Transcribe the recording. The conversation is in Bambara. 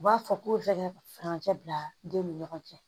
U b'a fɔ k'o fɛɛrɛ ka furancɛ bila den ni ɲɔgɔn cɛ